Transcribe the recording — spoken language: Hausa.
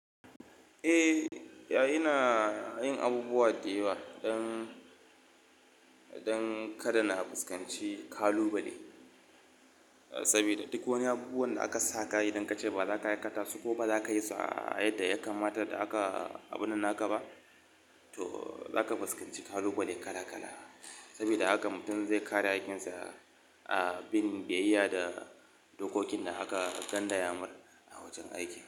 Eh, yayi na yin abubuwa da yawa don, don kada na fuskanci ƙalubale sabida duk wani abubuwan da aka sa ƙa'ida in kace ba za ka aikata su ko ba za ka yi su a yadda ya kamata da aka abun nan aka ba, to za ka fuskanci ƙalubale kala kala. Sabida haka mutum zai kare aikinsa a bin biyayya da dokokin da aka ƙindaya mai a wajen aiki.